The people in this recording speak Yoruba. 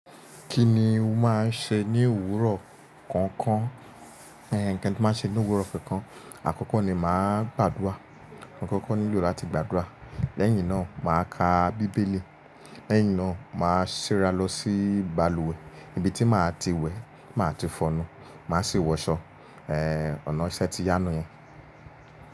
Kí ni o máa ń ṣe ní òwúrọ̀ kọ̀ọ̀kan? Ẹ nǹkan tí màá ṣe ní òwúrọ̀ kànkan, àkọ́kọ́ ni màá gbàdúrà. Mo koko nilo lati gbàdúrà, lẹ́yìn náà màá ka bíbélì, lẹ́yìn náà màá ṣera lọ sí balùwẹ̀ níbi tí màá ti wẹ̀, ti màá ti fọnu, màá sì wọṣọ, ẹ́ ọ̀nà iṣẹ ti yá niyen.